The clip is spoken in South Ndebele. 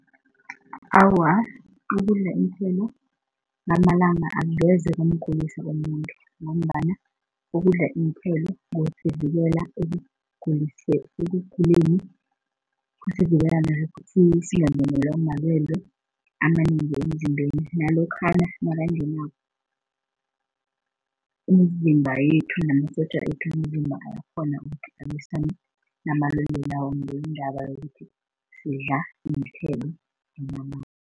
Awa, ukudla iinthelo ngamalanga angeze kwamgulisa umuntu ngombana ukudla iinthelo kusivikela ekuguleni, kusivikela singangenwa malwele amanengi emzimbeni nalokhana nakangenako imizimba yethu namasotja wethu womzimba ayakghona ukuthi alwisane namalwele lawo ngendaba yokuthi sidla iinthelo